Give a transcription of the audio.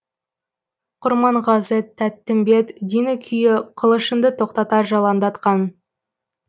құрманғазы тәттімбет дина күйі қылышыңды тоқтатар жалаңдатқан